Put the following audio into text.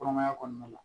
Kɔnɔmaya kɔnɔna la